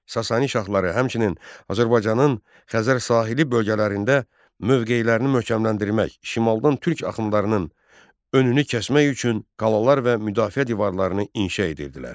Sasani şahları həmçinin Azərbaycanın Xəzər sahili bölgələrində mövqeylərini möhkəmləndirmək, şimaldan türk axınlarının önünü kəsmək üçün qalalar və müdafiə divarlarını inşa edirdilər.